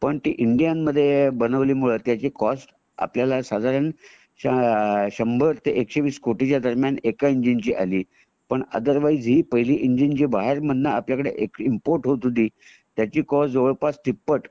पण ती इंडिया मध्ये बनवल्या मुळे त्याची कॉस्ट त्याला साधारण शंभर ते एकशे वीस कोटी च्या दरम्यान एका इंजिन ची आली पण आदरवाइज जे पहिले बाहेर बनन आपल्याकडे इम्पोर्ट होत होती त्याची कॉस्ट तिप्पट जवळ पास तिप्पट